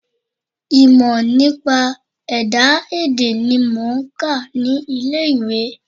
Ìmọ̀ nípa ẹ̀dá èdè ni mò ń kà ní ilé ìwé.